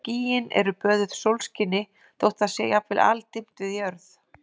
Skýin eru böðuð sólskini þótt það sé jafnvel aldimmt við jörð.